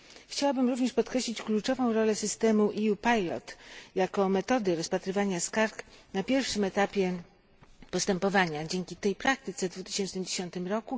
Chciałabym również podkreślić kluczową rolę systemu EU pilot jako metody rozpatrywania skarg na pierwszym etapie postępowania. Dzięki tej praktyce w 2010 r.